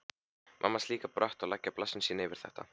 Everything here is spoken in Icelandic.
Mamma hans líka brött að leggja blessun sína yfir þetta.